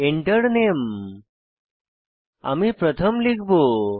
Enter Name আমি প্রথম লিখব